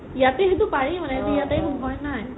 ইয়াতে সেইটো পাৰি মানে সেইটো ভই নাই